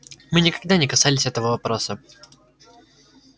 мы никогда не касались этого вопроса